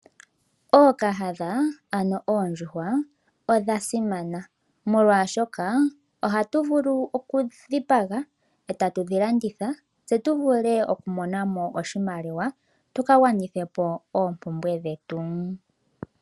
Ookahadha ano oondjuhwa odha simana, molwaashoka ohatu vulu oku dhipaga etatu dhi landitha tse tu vule okumonamo oshimaliwa, tuka gwanithepo oompumbwe dhetu.